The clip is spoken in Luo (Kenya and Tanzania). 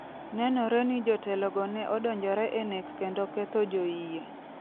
Nenore ni jotelogo ne odonjore e nek kendo ketho joyie.